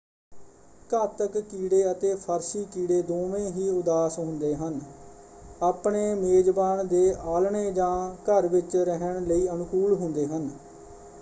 ਘਾਤਕ-ਕੀੜੇ ਅਤੇ ਫ਼ਰਸ਼ੀ-ਕੀੜੇ ਦੋਵੇਂ ਹੀ ਉਦਾਸ ਹੁੰਦੇ ਹਨ ਆਪਣੇ ਮੇਜ਼ਬਾਨ ਦੇ ਆਲ੍ਹਣੇ ਜਾਂ ਘਰ ਵਿੱਚ ਰਹਿਣ ਲਈ ਅਨੁਕੂਲ ਹੁੰਦੇ ਹਨ।